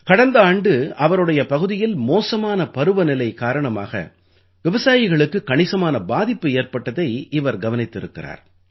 கடந்த ஆண்டு அவருடைய பகுதியில் மோசமான பருவநிலை காரணமாக விவசாயிகளுக்குக் கணிசமான பாதிப்பு ஏற்பட்டதை இவர் கவனித்திருக்கிறார்